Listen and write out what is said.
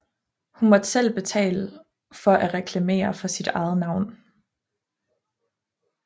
Hun måtte selv betale for at reklamere for sit eget navn